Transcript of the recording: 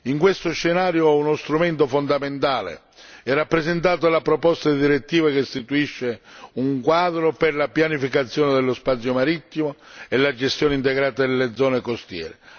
In questo scenario uno strumento fondamentale è rappresentato dalla proposta di direttiva che istituisce un quadro per la pianificazione dello spazio marittimo e la gestione integrata delle zone costiere.